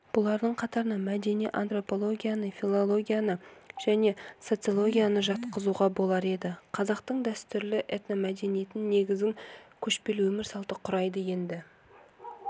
бұлардың қатарына мәдени антропологияны филологияны және социологияны жатқызуға болар еді қазақтың дәстүрлі этномәдениетін негізін көшпелі өмір салты құрайды енді